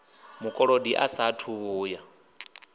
mukolodi a saathu u vhuya